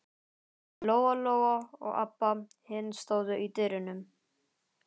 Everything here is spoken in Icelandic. Lóa Lóa og Abba hin stóðu í dyrunum.